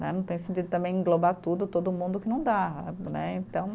Não tem sentido também englobar tudo, todo mundo que não dá, né, então